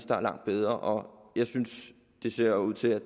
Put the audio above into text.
der er langt bedre og jeg synes det ser ud til at